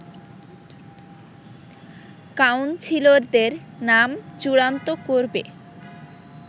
কাউন্সিলরদের নাম চূড়ান্ত করবে